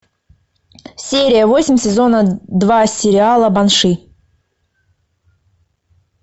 серия восемь сезона два сериала банши